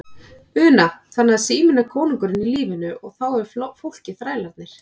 Una: Þannig að síminn er kóngurinn í lífinu og er þá fólkið þrælarnir?